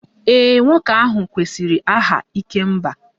Ee, nwoke ahụ kwesịrị aha 'ikemba'